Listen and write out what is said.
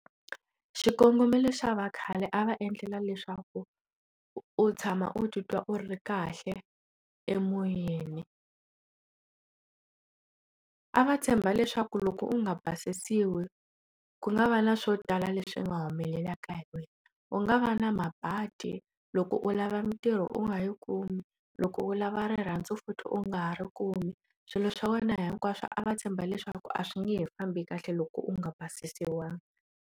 Xikongomelo xa vakhale a va endlela leswaku u tshama u titwa u ri kahle emoyeni a va tshemba leswaku loko u nga basisiwi ku nga va na swo tala leswi nga humelelaka hi wena u nga va na mabadi loko u lava mintirho u nga yi kumi loko u lava rirhandzu futhi u nga ha ri kumi swilo swa wena hinkwaswo a va tshemba leswaku a swi nge fambi kahle loko u nga basisiwangi.